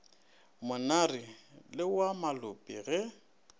monare le wa malope ge